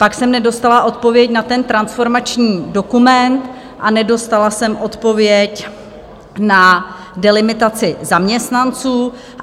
Pak jsem nedostala odpověď na ten transformační dokument a nedostala jsem odpověď na delimitaci zaměstnanců.